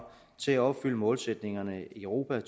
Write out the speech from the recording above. til at opfylde målsætningerne i europa